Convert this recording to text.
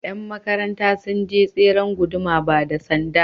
Yan makaranta sun je tseren guduma ba da Sanda.